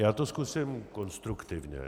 Já to zkusím konstruktivně.